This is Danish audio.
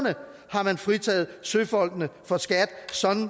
har man fritaget søfolkene for skat sådan